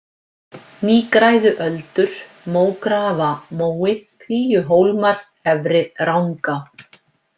Nýgræðuöldur, Mógrafamói, Kríuhólmar, Efri-Rangá